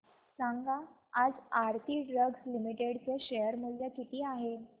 सांगा आज Aarti drugs limited चे शेअर मूल्य किती आहे